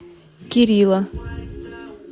кирилла